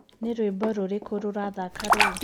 ni rwĩmbo rũrĩkũ rurathaka riu